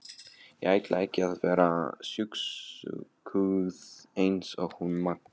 Ég ætla ekki að vera sjúskuð eins og hún Magga.